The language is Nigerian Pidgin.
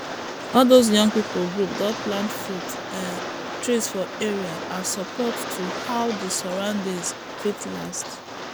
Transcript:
all those young pipu group don plant fruit um trees for area as support to how d surroundings fit last